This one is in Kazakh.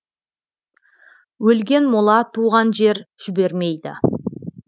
өлген мола туған жер жібермейді